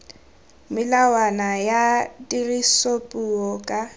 le melawana ya tirisopuo ka